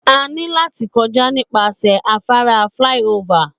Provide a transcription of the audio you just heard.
A ní láti kọjá nípasẹ̀ afárá flyover.